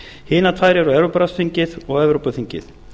hinar tvær eru evrópuráðsþingið og evrópuþingið